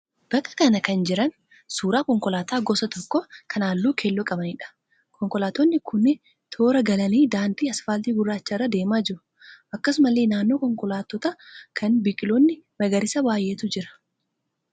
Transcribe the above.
Bakka kana kan jiran suuraa konkolaataa gosa tokko kan halluu keelloo qabaniidha. Konkolaattonni kunneen toora galanii daandii asfaaltii gurraacha irra deemaa jiru. Akkasumallee naannoo konkolaattota kanaa biqiloonni magariisaa baay'eetu jiru.